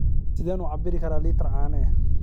Sideen u cabbiri karaa litir caano ah?